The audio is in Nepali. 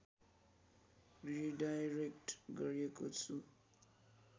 रिडाइरेक्ट गरेको छु